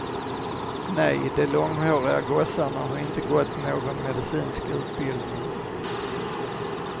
Nej, de långhåriga gossarna har inte gått någon medicinsk utbildning.